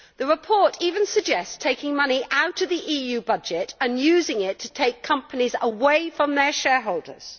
The report even suggests taking money out of the EU budget and using it to take companies away from their shareholders.